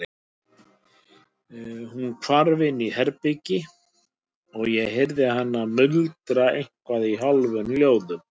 Hún hvarf inn í herbergi og ég heyrði hana muldra eitthvað í hálfum hljóðum.